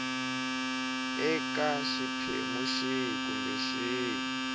eka xiphemu xihi kumbe xihi